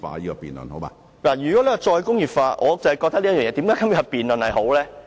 如果我們要談"再工業化"......我覺得有今天這項辯論是好的。